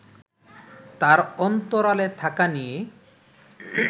তার অন্তরালে থাকা নিয়ে